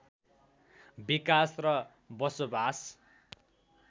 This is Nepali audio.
विकास र बसोबास